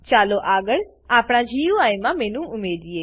ચાલો આગળ આપણા ગુઈ માં મેનુ ઉમેરીએ